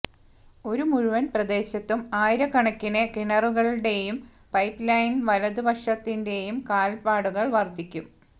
ഒരു മുഴുവൻ പ്രദേശത്തും ആയിരക്കണക്കിന് കിണറുകളുടെയും പൈപ്പ്ലൈൻ വലതുപക്ഷത്തിന്റെയും കാൽപാടുകൾ വർദ്ധിക്കും